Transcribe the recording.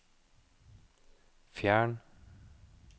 fjern